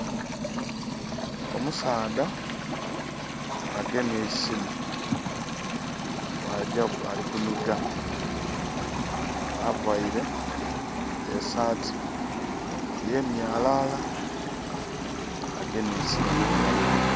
Omusaadha agemye eisimu, bwagya ali ku nhiga availe esaati eyemyalala, agemye eisimu mu ngalao dhe.